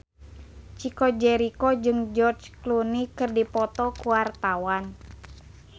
Chico Jericho jeung George Clooney keur dipoto ku wartawan